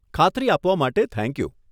ખાતરી આપવા માટે થેન્ક યુ.